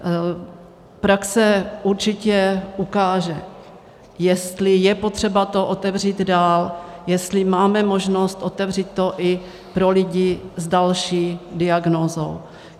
Praxe určitě ukáže, jestli je potřeba to otevřít dál, jestli máme možnost otevřít to i pro lidi s další diagnózou.